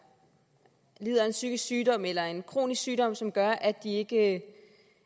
lider af en psykisk sygdom eller en kronisk sygdom som gør at de ikke